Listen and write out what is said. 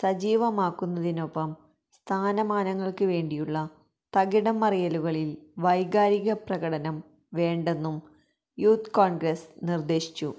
സജീവമാക്കുന്നതിനൊപ്പം സ്ഥാനമാനങ്ങള്ക്ക് വേണ്ടിയുള്ള തകിടംമറിയലുകളില് വൈകാരിപ്രകടനം വേണ്ടെന്നും യൂത്ത് കോണ്ഗ്രസ് നിര്ദേശിച്ചു